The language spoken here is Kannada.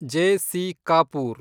ಜೆ.ಸಿ. ಕಾಪೂರ್